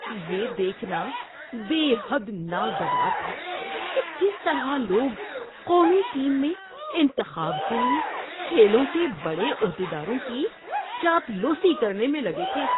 یہ دیکھنا بے حد ناگوار تھا کہ کس طرح لوگ قومی ٹیم میں انتخاب کے لیے کھیلوں کے بڑے عہدیداروں کی چاپلوسی کرنے میں لگے تھے۔